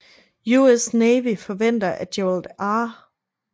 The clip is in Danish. US Navy forventer at Gerald R